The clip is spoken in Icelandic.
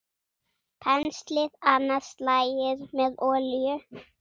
Penslið annað slagið með olíu.